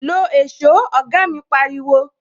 "Lo èsó "oga mi pariwo